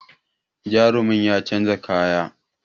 Jarumin ya canza kaya